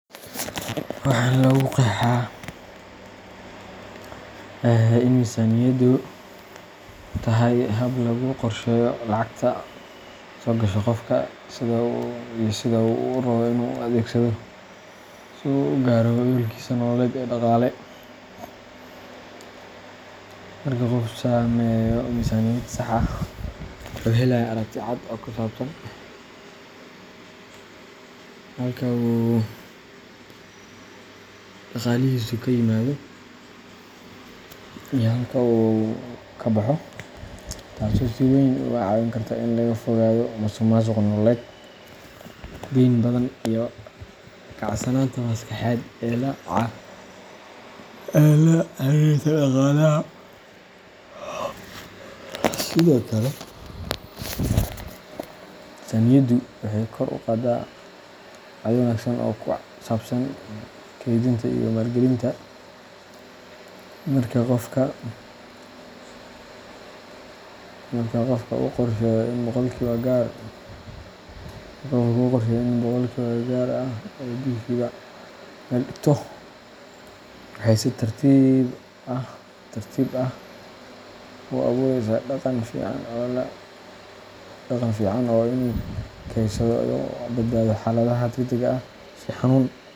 Waxaa lagu qeexaa in miisaaniyaddu tahay hab lagu qorsheeyo lacagta soo gasha qofka iyo sida uu u rabbo inuu u adeegsado si uu u gaaro yoolkiisa nololeed ee dhaqaale. Marka qofku sameeyo miisaaniyad sax ah, wuxuu helayaa aragti cad oo ku saabsan halka uu dhaqaalihiisu ka yimaado iyo halka uu ka baxo, taasoo si weyn uga caawin karta in laga fogaado musuqmaasuq nololeed, deyn badan, iyo kacsanaanta maskaxeed ee la xiriirta dhaqaalaha. Sidoo kale, miisaaniyaddu waxay kor u qaadaa caado wanaagsan oo ku saabsan kaydinta iyo maalgelinta. Marka qofka uu qorsheeyo in boqolkiiba gaar ah uu bishiiba meel dhigto, waxay si tartiib tartiib ah u abuureysaa dhaqan fiican oo ah inuu kaydsado si uu uga badbaado xaaladaha degdegga ah sida xanuun.